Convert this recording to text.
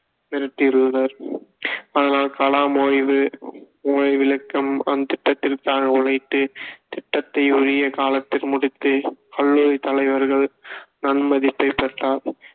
மிரட்டியுள்ளார் ஆனால் கலாம் ஓய்வு அந்த திட்டத்திற்காக உழைத்து திட்டத்தை உரிய காலத்தில் முடித்து கல்லூரி தலைவர்கள் நன்மதிப்பை பெற்றார்